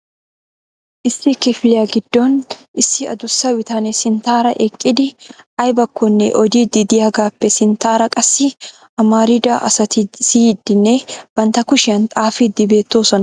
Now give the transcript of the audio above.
Issi kifiliyaa giddon issi addussa bitanee sinttaara eqqidi aybbakkonne oddiidi de'iyaagappe sinttaara qassi amarida asati siyyidinne bantta kushiyaan xaafidi beettoosona.